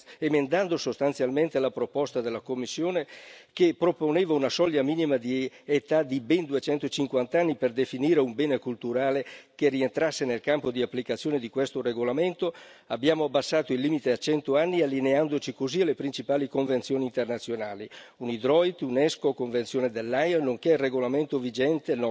Emendando sostanzialmente la proposta della Commissione, che proponeva una soglia minima di età di ben 250 anni per definire un bene culturale che rientrasse nel campo di applicazione di questo regolamento, abbiamo abbassato il limite a 100 anni, allineandoci così alle principali convenzioni internazionali nonché al nostro regolamento vigente